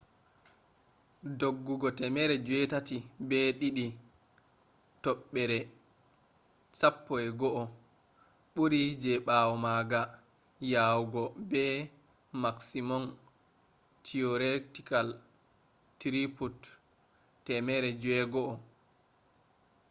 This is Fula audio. doggugo 802.11n bɓuri je ɓawo maga yawugo be maksimom tiyoretikal truput 600mbiy/s